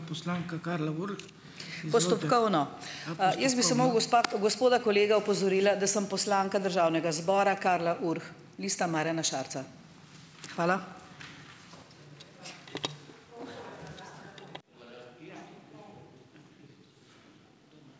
Postopkovno. Jaz bi samo gospoda kolega opozorila, da sem poslanka državnega zbora, Karla Urh, Lista Marjana Šarca. Hvala.